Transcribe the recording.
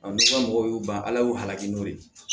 n'i ma mɔgɔw y'u ban ala y'u halaki n'o ye